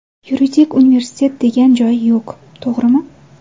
Yuridik universitet degan joyi yo‘q, to‘g‘rimi?